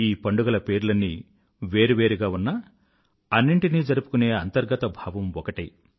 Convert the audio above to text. ఈ పండుగల పేర్లన్నీ వేరు వేరుగా ఉన్నా అన్నింటినీ జరుపుకునే అంతర్గత భావం ఒకటే